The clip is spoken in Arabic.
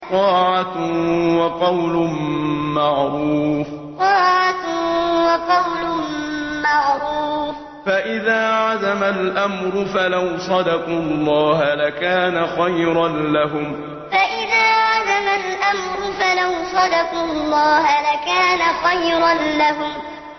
طَاعَةٌ وَقَوْلٌ مَّعْرُوفٌ ۚ فَإِذَا عَزَمَ الْأَمْرُ فَلَوْ صَدَقُوا اللَّهَ لَكَانَ خَيْرًا لَّهُمْ طَاعَةٌ وَقَوْلٌ مَّعْرُوفٌ ۚ فَإِذَا عَزَمَ الْأَمْرُ فَلَوْ صَدَقُوا اللَّهَ لَكَانَ خَيْرًا لَّهُمْ